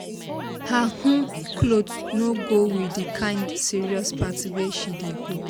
her um cloth no go with the kind serious party wey she dey go